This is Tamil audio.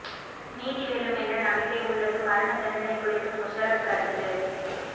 நீதி வெல்லும் என்ற நம்பிக்கை உள்ளது மரண தண்டனை குறித்து முஷரப் கருத்து